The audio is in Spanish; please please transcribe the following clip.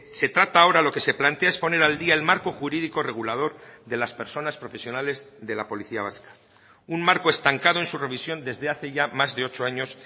se trata ahora lo que se plantea es poner al día el marco jurídico regulador de las personas profesionales de la policía vasca un marco estancado en su revisión desde hace ya más de ocho años